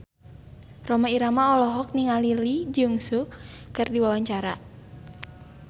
Rhoma Irama olohok ningali Lee Jeong Suk keur diwawancara